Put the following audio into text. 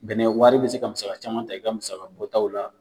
Bɛnɛ wɛari be se ka musaka caman ta i ka musaka bɔ taw la.